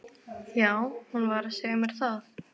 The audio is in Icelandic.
Já, hún var að segja mér það